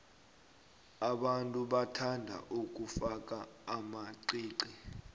abantu bathanda ukufaka amaqiqi